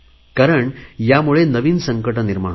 कारण ह्यामुळे नवीन संकटे निर्माण होतात